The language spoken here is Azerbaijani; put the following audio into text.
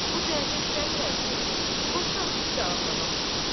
O cəhətə istəmirəm ki, qorxuram sizi də ağlamaq tuta.